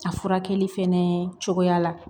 A furakɛli fɛnɛ cogoya la